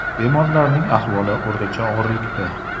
Bemorlarning ahvoli o‘rtacha og‘irlikda.